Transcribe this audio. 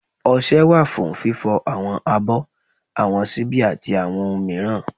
ọṣẹ wa fún fífo awọn abọ́, awọn ṣíbi ati awọn ohun miiran.